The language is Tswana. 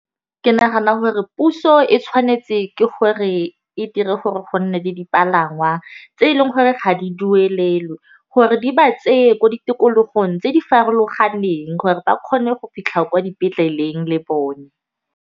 Ke nagana hore puso e tshwanetse ke gore e dire gore go nne le dipalangwa tse e leng gore ga di duelelwe gore di ba tseye ko di tikologong tse di farologaneng gore ba kgone go fitlha kwa dipetleleng le bone.